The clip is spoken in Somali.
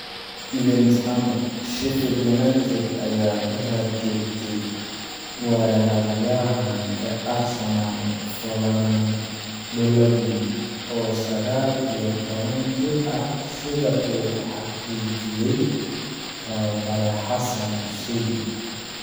(Evening Standard) Sheffield United ayaa ku raad joogtay weeraryahanka Arsenal Folarin Balogun, oo sagal iyo toban jir ah, sida uu xaqiijiyay tababare xassan xussein